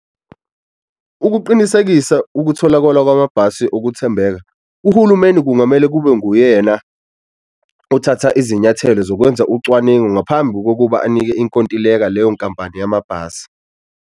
Ukuqinisekisa ukutholakwala kwamabhasi okuthembeka uhulumeni kungamele kube nguyena othatha izinyathelo zokwenza ucwaningo ngaphambi kokuba anike inkontileka leyo nkampani yamabhasi.